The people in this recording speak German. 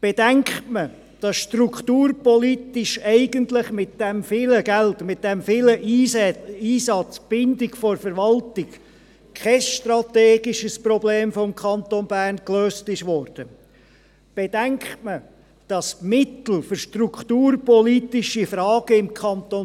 Bedenkt man, dass strukturpolitisch eigentlich mit diesem vielen Geld, mit diesem grossen Einsatz und mit der Bindung der Verwaltung kein strategisches Problem des Kantons Bern gelöst wurde, bedenkt man, dass die Mittel für strukturpolitische Fragen im Kanton